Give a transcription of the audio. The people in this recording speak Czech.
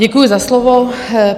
Děkuji za slovo.